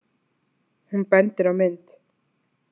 Hún bendir á mynd.